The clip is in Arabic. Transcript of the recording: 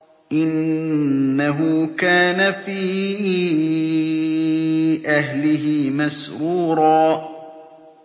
إِنَّهُ كَانَ فِي أَهْلِهِ مَسْرُورًا